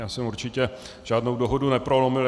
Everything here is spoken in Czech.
Já jsem určitě žádnou dohodu neprolomil.